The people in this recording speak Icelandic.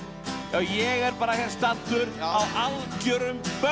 ég er hér staddur á algjörum